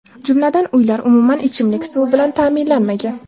Jumladan, uylar umuman ichimlik suvi bilan ta’minlanmagan.